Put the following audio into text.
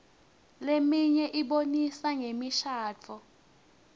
leminye ibonisa ngemishadvo